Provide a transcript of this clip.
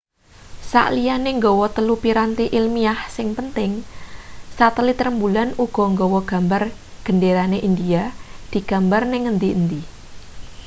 sakliyane gawa telu piranti ilmiah sing penting satelit rembulan uga gawa gambar genderane india digambar ning ngendi-endi